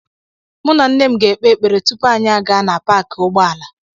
Mụ na nne m ga-ekpe ekpere tupu anyị aga na paakị ụgbọala